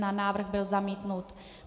Návrh byl zamítnut.